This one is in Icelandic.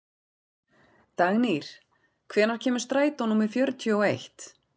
Dagnýr, hvenær kemur strætó númer fjörutíu og eitt?